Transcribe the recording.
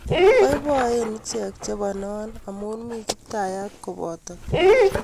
Boiboen ichek che bonon amu mi Kiptayat kopoto